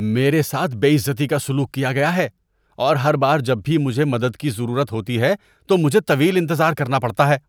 میرے ساتھ بے عزتی کا سلوک کیا گیا ہے اور ہر بار جب بھی مجھے مدد کی ضرورت ہوتی ہے تو مجھے طویل انتظار کرنا پڑتا ہے۔